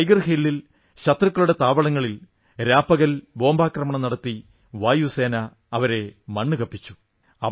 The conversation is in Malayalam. ടൈഗർ ഹില്ലിൽ ശത്രുക്കളുടെ താവളങ്ങളിൽ രാപകൽ ബോംബാക്രമണം നടത്തി വായുസേന അവരെ മണ്ണുകപ്പിച്ചു